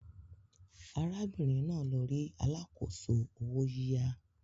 Arábìnrin náà lọ rí alákòóso owó yíyá